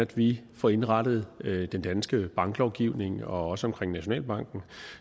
vi får indrettet den danske banklovgivning også omkring nationalbanken